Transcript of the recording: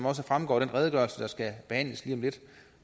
også fremgår af den redegørelse der skal behandles lige om lidt